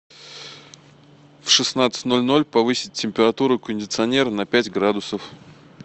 в шестнадцать ноль ноль повысить температуру у кондиционера на пять градусов